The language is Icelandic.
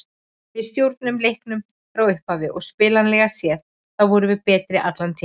Við stjórnuðum leiknum frá upphafi og spilanlega séð þá vorum við betri allan tímann.